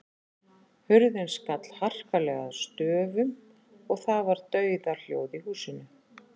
Hurðin skall harkalega að stöfum og það var dauðahljóð í húsinu.